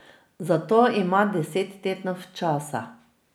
Za to ima deset tednov časa.